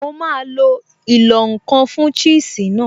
Mo máa lo ìlọ̀-nǹkan fun cheese náà